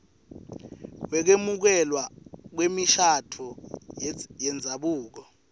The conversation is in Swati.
wekwemukelwa kwemishado yendzabuko